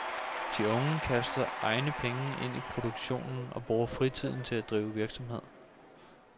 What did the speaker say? De unge kaster egne penge ind i produktionen og bruger fritiden til at drive virksomhed.